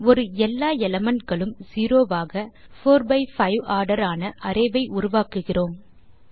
ஒரு எல்லா elementகளும் செரோ ஆக போர் பை பைவ் ஆர்டர் ஆன அரே வை உருவாக்குகிறோம்